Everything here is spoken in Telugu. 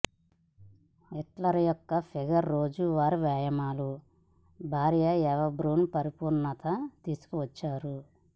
హిట్లర్ యొక్క ఫిగర్ రోజువారీ వ్యాయామాలు భార్య ఎవ బ్రున్ పరిపూర్ణత తీసుకువచ్చారు